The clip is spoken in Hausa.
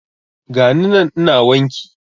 Gani nan ina wanki